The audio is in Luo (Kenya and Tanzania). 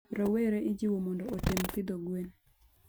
Rowere ijiwo mondo otem pidho gwen